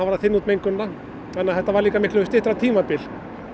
var að þynna út mengunina þannig að þetta var líka miklu styttra tímabil